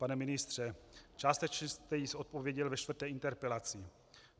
Pane ministře, částečně jste již odpověděl ve čtvrté interpelaci.